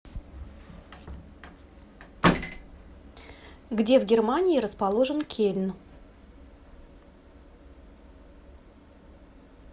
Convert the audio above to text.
где в германии расположен кельн